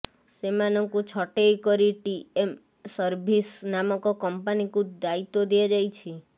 ସେମାନଙ୍କୁ ଛଟେଇ କରି ଟି ଏମ ସର୍ଭିସ ନାମକ କମ୍ପାନୀକୁ ଦାୟିତ୍ୱ ଦିଆଯାଇଛି